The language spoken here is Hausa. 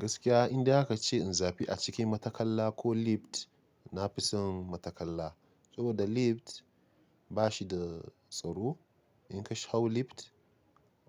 Gaskiya inde aka ce in zabi a cikin matattakala ko lift, na fi son matattakala. Saboda lift ba shi da tsaro. In ka hau lift,